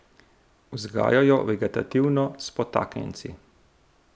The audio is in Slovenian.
Vzgajajo jo vegetativno, s potaknjenci.